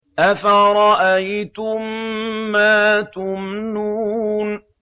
أَفَرَأَيْتُم مَّا تُمْنُونَ